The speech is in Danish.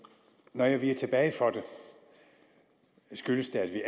når jeg viger tilbage for det skyldes det at vi